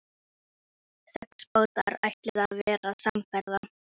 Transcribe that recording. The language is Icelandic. Sex bátar ætluðu að verða samferða.